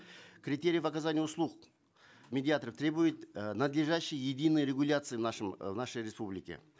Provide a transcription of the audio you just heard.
критериев оказания услуг медиаторов требует э надлежащей единой регуляции э в нашей республике